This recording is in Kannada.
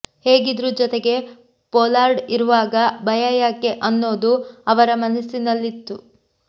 ಹೇಗಿದ್ರೂ ಜೊತೆಗೆ ಪೊಲಾರ್ಡ್ ಇರುವಾಗ ಭಯ ಯಾಕೆ ಅನ್ನೋದು ಅವರ ಮನಸ್ಸಿನಲ್ಲಿತ್ತು